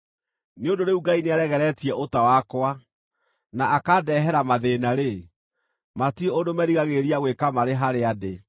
Nĩ ũndũ rĩu Ngai nĩaregeretie ũta wakwa, na akandeehera mathĩĩna-rĩ, matirĩ ũndũ merigagĩrĩria gwĩka marĩ harĩa ndĩ.